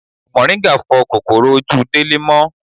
Moringa fo kòkòrò ojú Délé mó.